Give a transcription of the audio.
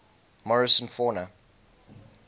morrison fauna